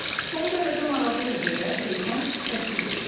Son dərəcə maraqlıdır deyə Qrifon təsdiq etdi.